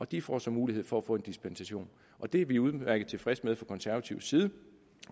de får så mulighed for at få dispensation og det er vi udmærket tilfredse med fra konservativ side